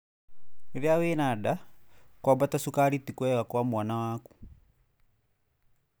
Rĩrĩa wĩna nda, kwambata cukari ti kwega kwa mwana waku.